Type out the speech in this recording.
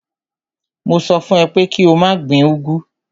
Mo sọ fún ẹ pé kí o má gbin úgwú.